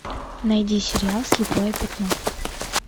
найди сериал слепое пятно